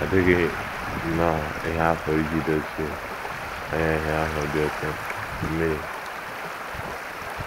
Ọ dịghị nnọọ ihe a pụrụ iji dochie anya ihe ahụ dị oké mkpa, mmiri.